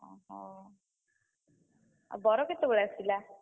ଅହୋ! ଆଉ ବର କେତବେଳେ ଆସିଲା?